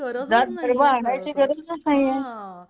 गरजच नाहीय जात धर्म आणायची गरजच नाहीय